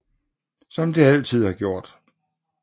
Sådan som det altid har gjort